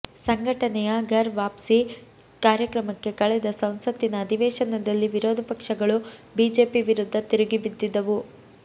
ಸಂಘಟನೆಯ ಘರ್ ವಾಪ್ಸಿ ಕಾರ್ಯಕ್ರಮಕ್ಕೆ ಕಳೆದ ಸಂಸತ್ತಿನ ಅಧಿವೇಶನದಲ್ಲಿ ವಿರೋಧ ಪಕ್ಷಗಳು ಬಿಜೆಪಿ ವಿರುದ್ದ ತಿರುಗಿ ಬಿದ್ದಿದ್ದವು